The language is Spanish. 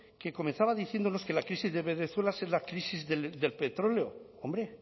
que comenzaba diciéndonos que la crisis de venezuela es la crisis del petróleo hombre